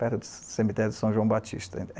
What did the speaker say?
Perto do cemitério de São João Batista.